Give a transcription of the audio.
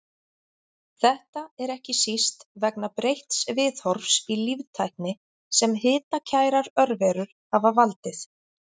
Þetta er ekki síst vegna breytts viðhorfs í líftækni sem hitakærar örverur hafa valdið.